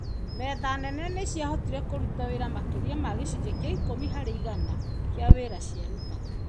Metha nene nĩ ciahotire "kũruta wĩra makĩria ma gĩcunjĩ gĩa ikũmi harĩ igana kĩa wĩra ciarutaga".